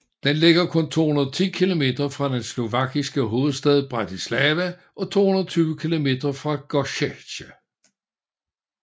Den ligger kun 210 kilometer fra den slovakiske hovedstad Bratislava og 220 kilometer fra Košice